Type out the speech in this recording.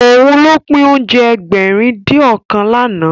Òun ló pín oúnjẹ Ẹgbẹ̀rin-dín-ọ̀kan lánàá